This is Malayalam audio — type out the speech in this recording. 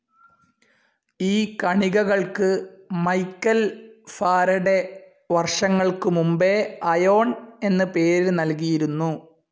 ഈ കണികകൾക്ക് മൈക്കൽ ഫാരഡെ വർഷങ്ങൾക്കു മുമ്പേ അയോൺ എന്ന് പേര് നൽകിയിരുന്നു.